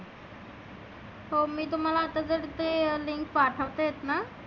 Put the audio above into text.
हो मी तर मला आता जर ते link पाठवते आहेत ना.